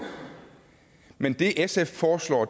men det sf foreslår